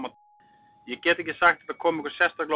Ég get ekki sagt að þetta komi okkur sérstaklega á óvart.